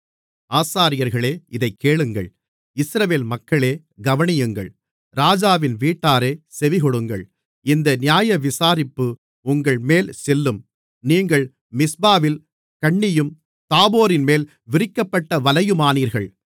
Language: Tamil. ஆசாரியர்களே இதைக் கேளுங்கள் இஸ்ரவேல் மக்களே கவனியுங்கள் ராஜாவின் வீட்டாரே செவிகொடுங்கள் இந்த நியாயவிசாரிப்பு உங்கள்மேல் செல்லும் நீங்கள் மிஸ்பாவில் கண்ணியும் தாபோரின்மேல் விரிக்கப்பட்ட வலையுமானீர்கள்